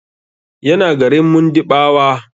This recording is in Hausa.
Yana garin Mundiɓawa.